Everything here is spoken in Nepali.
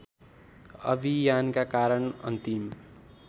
अभियानका कारण अन्तिम